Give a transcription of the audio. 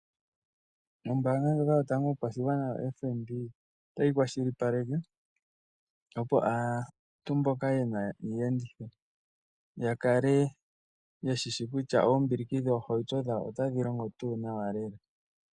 Ombaanga ndyoka yotango yopashigwana otayi kwashilipaleke, opo aantu mboka yena iiyenditho, yakale yeshishi kutya oombiliki dhoohauto dhawo otadhi longo tuu nawa lela.